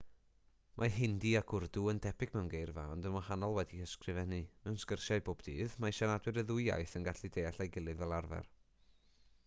mae hindi ac wrdw yn debyg mewn geirfa ond yn wahanol wedi'u hysgrifennu mewn sgyrsiau bob dydd mae siaradwyr y ddwy iaith yn gallu deall ei gilydd fel arfer